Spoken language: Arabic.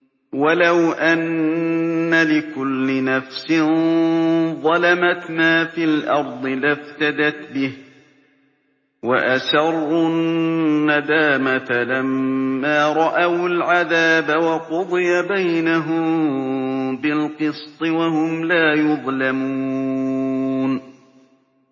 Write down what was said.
وَلَوْ أَنَّ لِكُلِّ نَفْسٍ ظَلَمَتْ مَا فِي الْأَرْضِ لَافْتَدَتْ بِهِ ۗ وَأَسَرُّوا النَّدَامَةَ لَمَّا رَأَوُا الْعَذَابَ ۖ وَقُضِيَ بَيْنَهُم بِالْقِسْطِ ۚ وَهُمْ لَا يُظْلَمُونَ